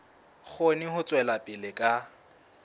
kgone ho tswela pele ka